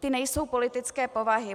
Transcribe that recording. Ty nejsou politické povahy.